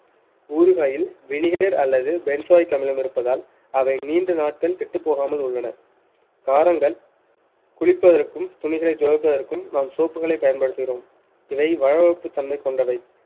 ஊறுகாயில் vinegar அல்லது benzoic அமிலம் இருப்பதால் அவை நீண்ட நாட்கள் கெட்டப் போகாமல் உள்ளன காரங்கள் குளிப்பதற்கும் துணிகளைத் துவைப்பதற்கும் நாம் soap களை பயன்படுத்துகிறோம் இதை வளவளப்புத் தன்மை கொண்டவை